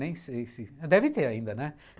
Nem sei se... Deve ter ainda, né?